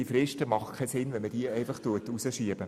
Deshalb macht es keinen Sinn, diese Fristen hinauszuschieben.